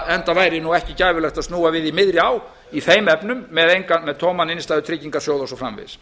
enda væri ekki gæfulegt að snúa við í miðri á í ári efnum með tóman innstæðutryggingarsjóð og svo framvegis